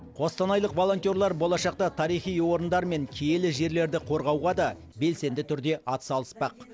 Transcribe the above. қостанайлық волонтерлар болашақта тарихи орындар мен киелі жерлерді қорғауға да белсенді түрде атсалыспақ